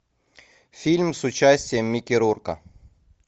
фильм с участием микки рурка